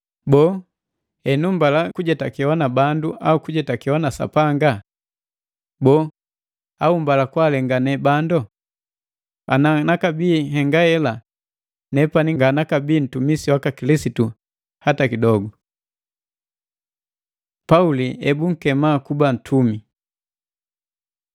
Boo, henu mbala kujetakewa na bandu au kujetakewa na Sapanga? Boo, au mbala kwaalengane bando? Ana nakabii nhengahela, nepani nga nakabi ntumisi waka Kilisitu hata kidogu. Pauli ebunkema kuba ntumi